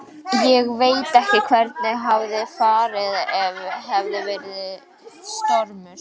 Ég veit ekki hvernig hefði farið ef hefði verið stormur.